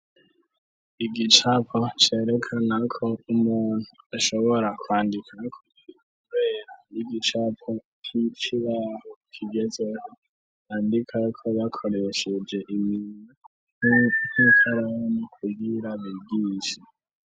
Igicapo cerekana ko umuntu ashobora kwandika kubera y'igicapo k'icirahu kigeze bandika ko yakoresheje imina 'nkikaramo kugira bibyinshi.